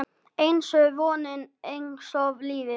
Einsog vonin, einsog lífið